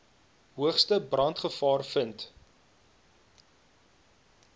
hoogste brandgevaar vind